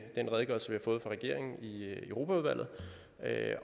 den redegørelse vi har fået fra regeringen i europaudvalget